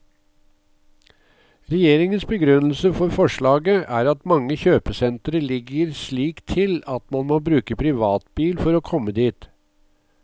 Regjeringens begrunnelse for forslaget er at mange kjøpesentre ligger slik til at man må bruke privatbil for å komme dit.